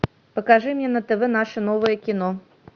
покажи мне на тв наше новое кино